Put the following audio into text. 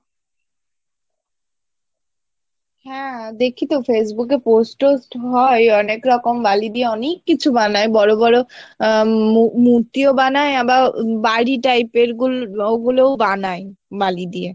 হ্যাঁ দেখিতো facebook এ post টোস্ট হয় অনেকরকম বালি দিয়ে অনেক কিছু বানাই বড়ো বোরো আহ মু মূর্তিও বানাই আবার বাড়ি type এর গুলোও বানাই বালি দিয়ে